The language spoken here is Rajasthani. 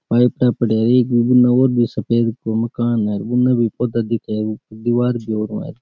पाइप न परेड़ी उन्ना भी सफ़ेद सा मकान है पौधा दिखेरी दीवार --